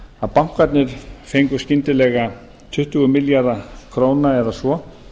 að bankarnir fengu skyndilega tuttugu milljarða króna eða svo